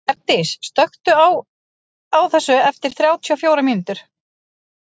Bjargdís, slökktu á þessu eftir þrjátíu og fjórar mínútur.